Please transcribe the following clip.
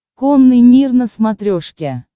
конный мир на смотрешке